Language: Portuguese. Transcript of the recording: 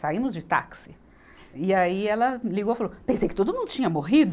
saímos de táxi e aí ela ligou e falou, pensei que todo mundo tinha morrido